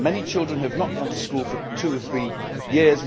Many children have not gone to school for two or three years.